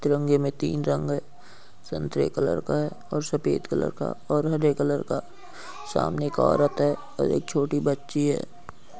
तिरंगे में तीन रंग है संतरे कलर का है और सफेद कलर का और हरे कलर का | सामने एक औरत है और एक छोटी बच्ची है।